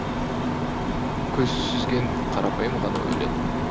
көзсүзген қарапайым ғана өлең